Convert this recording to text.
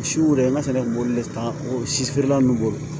Si ko de man sin b'olu le ta o si feerela ninnu bolo